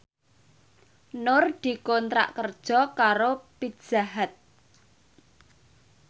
Nur dikontrak kerja karo Pizza Hut